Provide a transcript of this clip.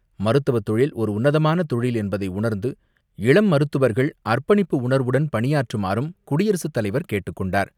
மருத்துவத் தொழில் ஒரு உன்னதமான தொழில் என்பதை உணர்ந்து இளம் மருத்துவர்கள் அர்ப்பணிப்பு உணர்வுடன் பணியாற்றுமாறும் குடியரசு தலைவர் கேட்டுக் கொண்டார்.